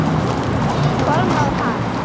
Konráð Hall.